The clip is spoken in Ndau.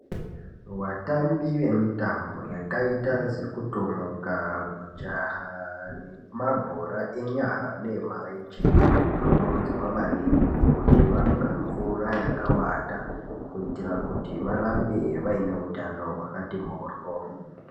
Vatambi vemitambo yakaita sekutomuka, kujaha nemabhora enyara neemarenje, vanokurudzirwa maningi kuti vamwe mvura yakawanda, kuitira kuti varambe vaine utano hwakati mhoryo.